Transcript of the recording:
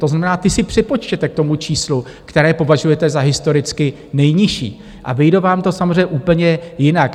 To znamená, ty si připočtěte k tomu číslu, které považujete za historicky nejnižší, a vyjde vám to samozřejmě úplně jinak.